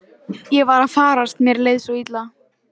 Ég var að farast, mér leið svo illa.